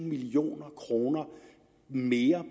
million kroner mere